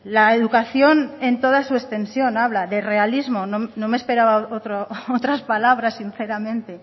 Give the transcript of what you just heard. la educación en toda su extensión habla de realismo no me esperaba otras palabras sinceramente